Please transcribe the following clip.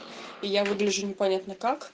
и я выгляжу непонятно как